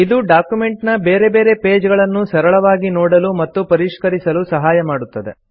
ಇದು ಡಾಕ್ಯುಮೆಂಟ್ ನ ಬೇರೆ ಬೇರೆ ಪೇಜ್ ಗಳನ್ನು ಸರಳವಾಗಿ ನೋಡಲು ಮತ್ತು ಪರಿಷ್ಕರಿಸಲು ಸಹಾಯ ಮಾಡುತ್ತದೆ